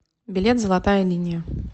билет золотая линия